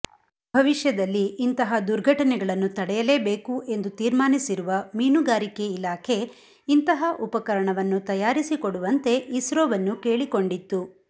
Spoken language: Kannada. ಭವಿಷ್ಯದಲ್ಲಿ ಇಂತಹ ದುರ್ಘಟನೆಗಳನ್ನು ತಡೆಯಲೇಬೇಕು ಎಂದು ತೀರ್ಮಾನಿಸಿರುವ ಮೀನುಗಾರಿಕೆ ಇಲಾಖೆ ಇಂತಹ ಉಪಕರಣವನ್ನು ತಯಾರಿಸಿಕೊಡುವಂತೆ ಇಸ್ರೋವನ್ನು ಕೇಳಿಕೊಂಡಿತ್ತು